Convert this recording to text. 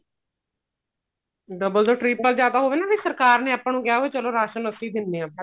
double ਤੋਂ triple ਜਾਂ ਤਾਂ ਹੋਵੇ ਨਾ ਵੀ ਸਰਕਾਰ ਨੇ ਆਪਾਂ ਨੂੰ ਕਿਹਾ ਵੀ ਚਲੋ ਰਾਸ਼ਨ ਅਸੀਂ ਦਿਨੇ ਆ